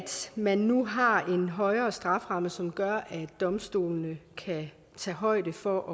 man nu har en højere strafferamme som gør at domstolene kan tage højde for